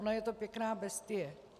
Ona je to pěkná bestie.